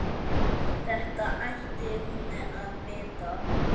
Þetta ætti hún að vita.